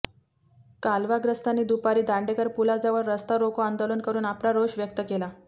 कालवाग्रस्तांनी दूपारी दांडेकर पूलाजवळ रास्ता रोको आंदोलन करून आपला रोष व्यक्त केला